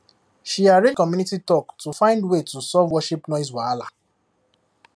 she arrange community talk to find way to solve worship noise wahala